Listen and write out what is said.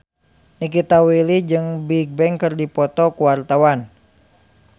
Nikita Willy jeung Bigbang keur dipoto ku wartawan